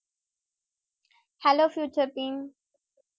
hello